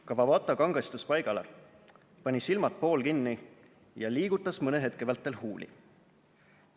" Kawabata kangestus paigale, pani silmad poolkinni ja liigutas mõne hetke vältel huuli.